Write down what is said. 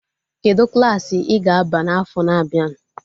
Kedụ Klassị I ga-aba n'afọ na-abịa?